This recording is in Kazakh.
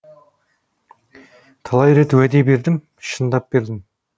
талай рет уәде бердім шындап бердім